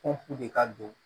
Ko f'u de ka don